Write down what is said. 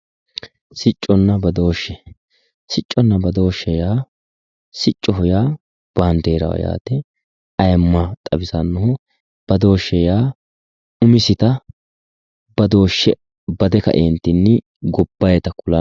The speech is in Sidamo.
Siccoho yaa baandeeraho yaate ayeemma xawisannoho, badooshshe yaa umisita badooshshe bade kaeentinni gobbayiita kulanno